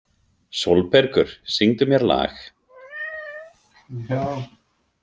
Sólbergur, syngdu mér lag.